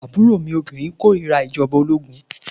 Àbúrò mi obìnrin kòrira ìjọba ológun.